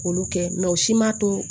K'olu kɛ o si man to